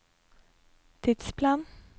tidsplan